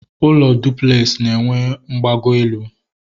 Ụlọ dụplex na enwe mgbago elu